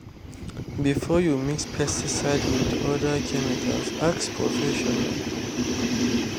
before you mix pesticide with another chemical ask professional.